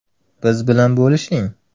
Biz bilan bo‘lishing.